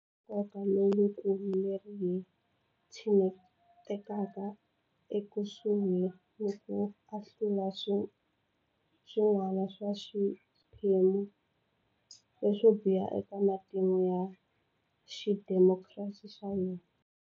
Goza ra nkoka lowukulu leri hi tshinetaka ekusuhi ni ku ahlula xin'wana xa swiphemu leswo biha eka matimu ya xidemokirasi xa hina.